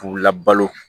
K'u labalo